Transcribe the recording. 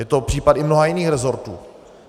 Je to případ i mnoha jiných rezortů.